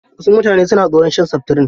Wasu mutane suna tsoron shan seftirin.